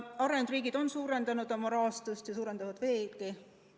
Arenenud riigid on suurendanud oma rahastust ja suurendavad veelgi.